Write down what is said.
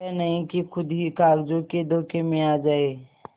यह नहीं कि खुद ही कागजों के धोखे में आ जाए